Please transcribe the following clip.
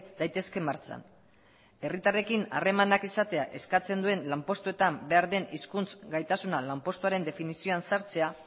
daitezke martxan herritarrekin harremanak izatea eskatzen duen lanpustuetan berdin hizkuntz gaitasuna lanpostuaren definizioan ezartzea